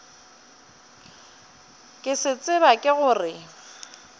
ke se tseba ke gore